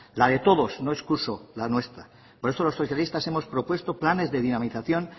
la de todos no excuso la nuestra por eso los socialistas hemos propuesto planes de dinamización